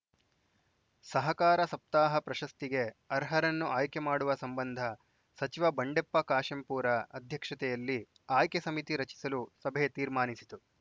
ಸಹಕಾರ ಸಪ್ತಾಹ ಪ್ರಶಸ್ತಿಗೆ ಅರ್ಹರನ್ನು ಆಯ್ಕೆ ಮಾಡುವ ಸಂಬಂಧ ಸಚಿವ ಬಂಡೆಪ್ಪ ಕಾಶೆಂಪೂರ ಅಧ್ಯಕ್ಷತೆಯಲ್ಲಿ ಆಯ್ಕೆ ಸಮಿತಿ ರಚಿಸಲು ಸಭೆ ತೀರ್ಮಾನಿಸಿತು